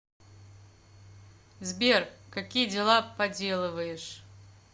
сбер какие дела поделываешь